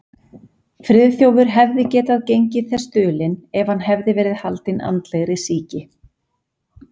Friðþjófur hefði getað gengið þess dulinn, ef hann hefði verið haldinn andlegri sýki.